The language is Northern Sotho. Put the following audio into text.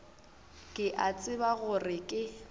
ke a tseba gore ke